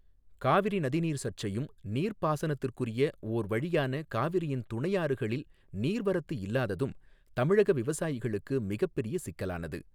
காவிாி நதிநீா் சா்ச்சையும் நீா்ப்பாசனத்திற்குாிய ஓர் வழியான காவிாியின் துணையாறுகளில் நீா்வரத்து இல்லாததும் தமிழக விவசாயிகளுக்கு மிகப்பாிய சிக்கலானது.